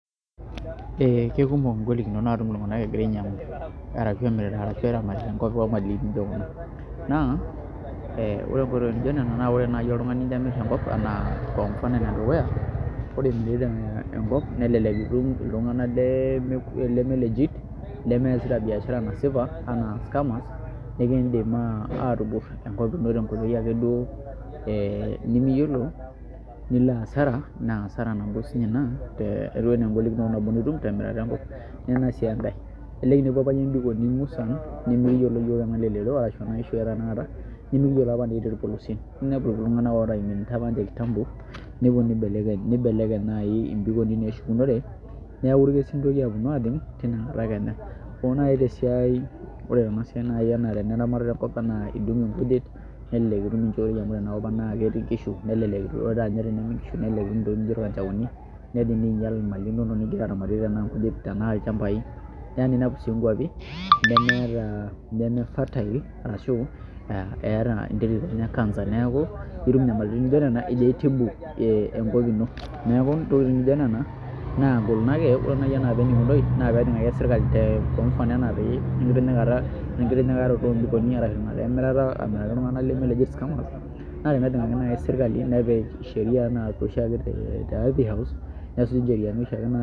Kekumok ngolinot naatum iltung'anak egira ainyiang'u ashu emirita ashu eramatita enkop omali nijo kuna naa ore nkoitooi nijio nena naa ore naai oltung'ani tenimirr enkop kwa mfano enedukuya ore imirita enkop nelelek itum iltung'anak leme legit lemeesita biashara nasipa naa scammers nikiidim aatimirr enkop ino tenkoitoi akeduo ee nimiyiolo nilo hasara naa asara nabo siinye ina ashu engolikinoto nitum temirata enkop, nena sii enkae elelek inepua apa iyie mbikoni musan nemekiyiolo iyiook arashu eneim orpolosie amu iidim aima kando kando nibelekeny naai mbikoni naashukunore neeku irkesin intokiki aaponu aajing' ore naai tena siai ena eneramatata enkop enaa indung' nkujit nelelek naai itum enaa naai tenetii nkishu nelelek etum nkishu ntokitin nijio irkanjaoni neidim niinyial nena mali inonok nijo apa piilo aramatie nkulie tenaa ilchambai neya sii ninepu ajo neme fertile ashu, neeku tenimiraki naai iltung'anak leme legit ashu scamers naa kenare nejing'aki sirkali, neyai naai orkesi SHeria house.